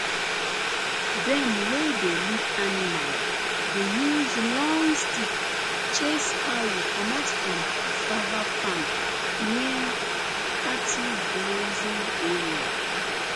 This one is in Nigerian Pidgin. dem wey dey lead animal dey use long stick chase cow comot from cassava farm near cattle grazing area